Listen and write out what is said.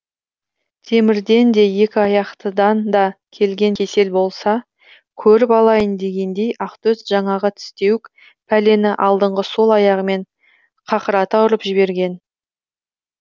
темірден де екі аяқтыдан да келген кесел болса көріп алайын дегендей ақтөс жаңағы тістеуік пәлені алдыңғы сол аяғымен қақырата ұрып жіберген